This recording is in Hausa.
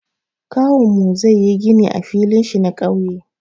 Kawunmu zai yi gini a filin shi na ƙauye.